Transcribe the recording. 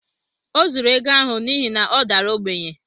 Ọ zuuru ego ahụ n’ihi na ọ dara ogbenye